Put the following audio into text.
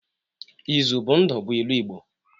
Izu bụ ndụ bụ ilu igbo.